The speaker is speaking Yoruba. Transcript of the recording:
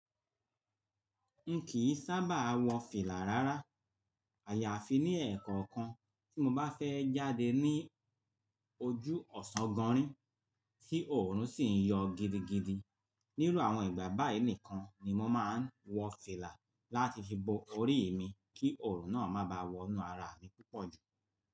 N kìí sábà wọ fìlà rárá. Àyàfi ní ẹ̀ẹ̀kookan tí mo bá fẹ́ jáde ní ojú ọ̀sán gánrín tí òòrùn sì ń yọ gidigidi. Níru àwọn ìgbà báyìí nìkan ni mo máa ń wọ fìlà láti fi bo orí mi kí òòrùn náà má báà wọnú ara mi púpọ̀ jù.